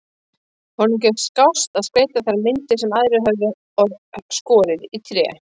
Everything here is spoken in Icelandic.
Honum gekk skást að skreyta þær myndir sem aðrir höfðu skorið í tré.